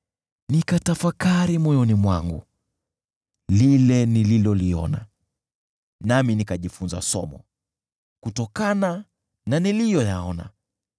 Nikatafakari moyoni mwangu lile nililoliona, nami nikajifunza somo kutokana na niliyoyaona: